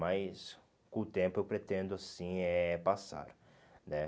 Mas com o tempo eu pretendo assim eh passar, né?